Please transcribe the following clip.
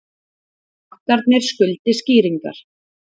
Bankarnir skuldi skýringar